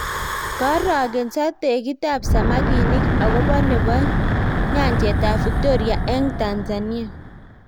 kiarokenso tekitab samakinik akobo nebo nyanjetab victoria eng Tanzania